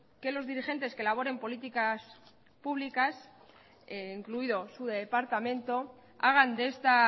que los dirigentes que elaboren políticas públicas incluido su departamento hagan de esta